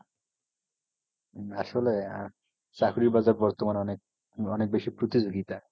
আসলে আহ চাকরির বাজার বর্তমানে অনেক অনেক বেশি প্রতিযোগীতা।